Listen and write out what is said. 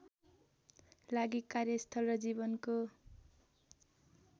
लागि कार्यस्थल र जीवनको